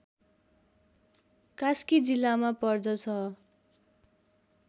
कास्की जिल्लामा पर्दछ